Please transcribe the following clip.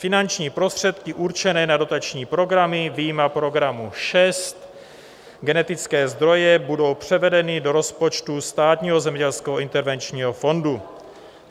Finanční prostředky určené na dotační programy vyjma programu 6 Genetické zdroje budou převedeny do rozpočtu Státního zemědělského intervenčního fondu.